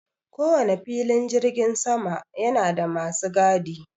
Ko wane filin jirgin sama yana da masu gadi.